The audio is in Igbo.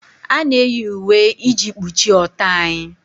A na-eyi uwe iji kpuchie ọtọ anyị